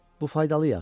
Bu faydalı yağ idi.